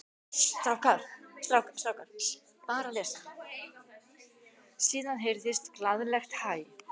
Síðan heyrðist glaðlegt hæ.